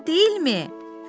Əla deyilmi?